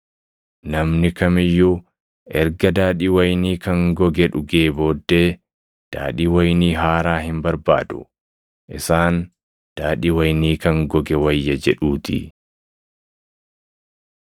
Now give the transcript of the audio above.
Namni kam iyyuu erga daadhii wayinii kan goge dhugee booddee daadhii wayinii haaraa hin barbaadu; isaan, ‘Daadhii wayinii kan goge wayya’ jedhuutii.”